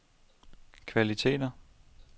kvaliteter